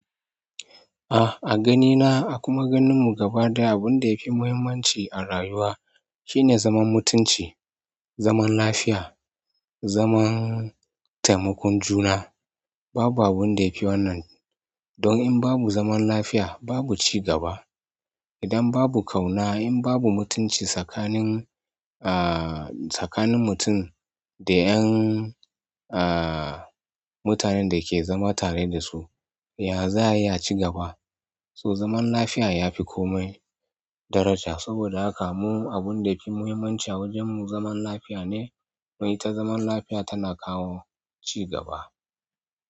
Ah, a ganina a kuma ganinmu gaba ɗaya, abun da yafi muhimmanci a rayuwa shine zaman mutunci, zaman lafiya, zaman taimakon juna. Babu abun da yafi wannan, don in babu zaman lafiya, babu cigaba. Idan babu ƙauna, in babu mutunci tsakanin, ah, tsakanin mutum da 'yan, ah, mutanen da ke zama tare da su, ya za ya ci gaba? To zaman lafiya ya fi kome daraja. Saboda haka mu abun da fi muhimmanci a wajenmu zaman lafiya ne. Dan ita zaman lafiya tana kawo cigaba.